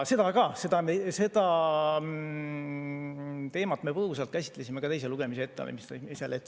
Aga seda teemat me ka põgusalt käsitlesime teise lugemise ettevalmistamisel.